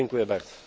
dziękuję bardzo